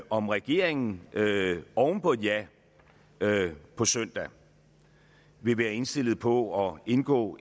om regeringen oven på et ja på søndag vil være indstillet på at indgå